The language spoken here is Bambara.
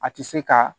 A tɛ se ka